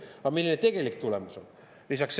Aga milline tegelik tulemus on?